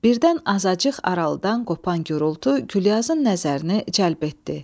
Birdən azacıq aralıdan qopan gurultu Gülyazın nəzərini cəlb etdi.